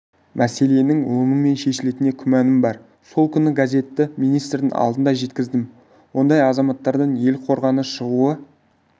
мәселенің оңымен шешілетініне күмәнім бар сол күнгі газетті министрдің алдына жеткіздім ондай азаматтардан ел қорғаны шығуы